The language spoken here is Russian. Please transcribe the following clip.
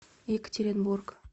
екатеринбург